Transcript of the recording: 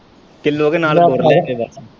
Kilo ਦੇ ਨਾਲ਼ ਜੋੜ ਲੈ ਇਹ ਸੇਵਾ।